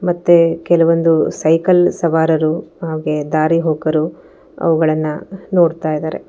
ಮತ್ತೆ ಕೆಲವೊಂದು ಸೈಕಲ್ ಸವಾರರು ಹಾಗೆ ದಾರಿಹೋಕರು ಅವುಗಳನ್ನ ನೋಡ್ತಾ ಇದರೆ.